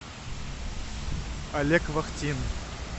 олег вахтин